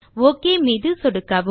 okay மீது சொடுக்கவும்